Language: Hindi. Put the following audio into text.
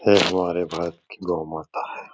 यह हमारे भारत की गऊँ माता है।